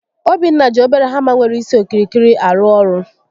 Obinna ji obere hama nwere isi okirikiri arụ ọrụ